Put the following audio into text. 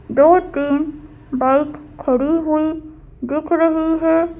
दो तीन बाइक खड़ी हुईदिख रही है।